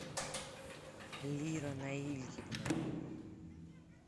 лира наильевна